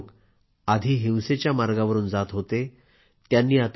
हे सर्व लोक आधी हिंसेच्या मार्गावरून जात होते